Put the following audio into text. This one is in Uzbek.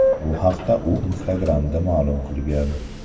Bu haqda u Instagram’da ma’lum qilgan.